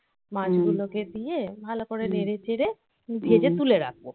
মাছগুলোকে দিয়ে ভালো করে নেড়েচেড়ে. ভেজে তুলে রাখবো. হুম